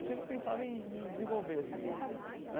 Eu sempre pensava em me desenvolver, assim, né?